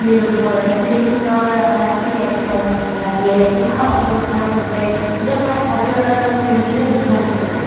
ঊষা অনিৰুদ্ধৰ শ্ৰীকৃষ্ণৰ নাতিয়েক হয় নাতিয়েক ঊষা অনিৰুদ্ধৰ সৈতে য'ত মানে হৰিহৰৰ কি হৈছিলে যুদ্ধ হৈছিলে